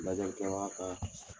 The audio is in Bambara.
Lajɛlikɛbaga ka